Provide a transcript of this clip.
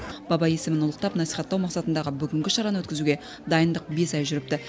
баба есімін ұлықтап насихаттау мақсатындағы бүгінгі шараны өткізуге дайындық бес ай жүріпті